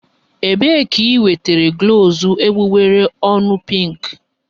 Ebee ka i nwetara glọs egbugbere ọnụ pinkị?